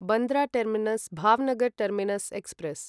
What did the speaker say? Bandra terminus Bhavnagar terminus express